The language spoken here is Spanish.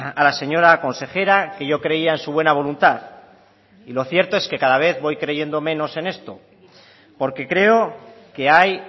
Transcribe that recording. a la señora consejera que yo creía en su buena voluntad y lo cierto es que cada vez voy creyendo menos en esto porque creo que hay